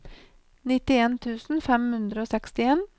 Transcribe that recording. nittien tusen fem hundre og sekstien